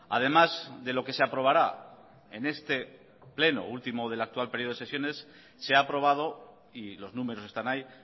además de lo que se aprobará en este pleno último del actual período de sesiones se ha aprobado y los números están ahí